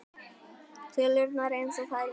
Tölurnar eins og þær voru.